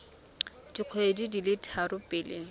dikgwedi di le tharo pele